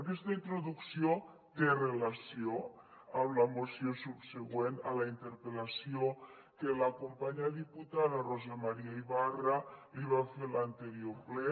aquesta introducció té relació amb la moció subsegüent a la interpel·lació que la companya diputada rosa maria ibarra li va fer en l’anterior ple